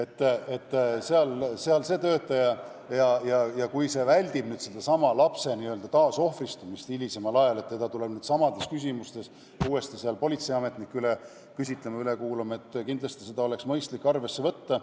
Nii et kõigepealt räägib sealne töötaja ja kui see aitab vältida lapse hilisemat taasohvristumist seoses sellega, et teda tuleb samades küsimustes uuesti üle kuulama politseiametnik, siis kindlasti oleks mõistlik varasemaid ütlusi arvesse võtta.